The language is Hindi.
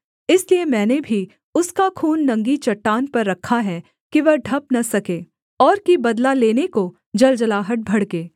इसलिए मैंने भी उसका खून नंगी चट्टान पर रखा है कि वह ढँप न सके और कि बदला लेने को जलजलाहट भड़के